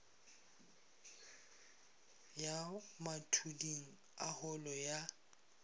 ya mathuding a holo ya